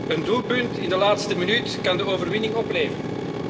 Een doelpunt in de laatste minuut kan de overwinning opleveren.